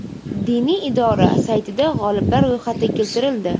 Diniy idora saytida g‘oliblar ro‘yxati keltirildi.